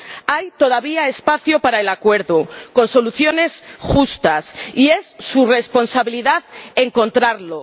Hay todavía espacio para el acuerdo con soluciones justas, y es su responsabilidad encontrarlo.